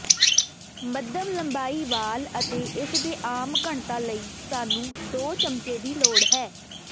ਮੱਧਮ ਲੰਬਾਈ ਵਾਲ ਅਤੇ ਇਸ ਦੇ ਆਮ ਘਣਤਾ ਲਈ ਸਾਨੂੰ ਦੋ ਚਮਚੇ ਦੀ ਲੋੜ ਹੈ